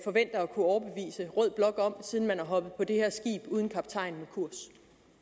kunne overbevise rød blok om siden man er hoppet på det her skib uden kaptajn med kurs